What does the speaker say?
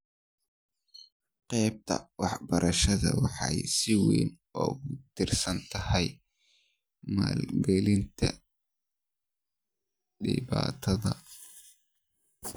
Qaybta waxbarashada waxay si weyn ugu tiirsan tahay maalgelinta dibadda.